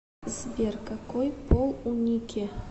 сбер какой пол у нике